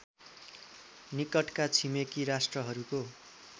निकटका छिमेकी राष्ट्रहरूको